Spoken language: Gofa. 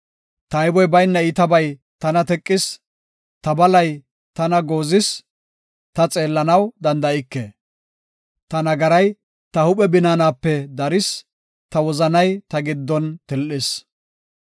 Tayboy bayna iitabay tana teqis; ta balay tana goozis; ta xeellanaw danda7ike Ta nagaray ta huuphe binaanape daris; ta wozanay ta giddon til7is.